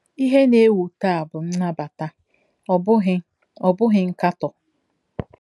Ihe na-ewu taa bụ nnabata, ọ bụghị, ọ bụghị nkatọ.